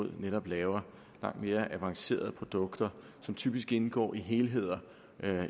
netop laver langt mere avancerede produkter som typisk indgår i helheder